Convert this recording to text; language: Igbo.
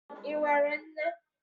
Ị nwere nne?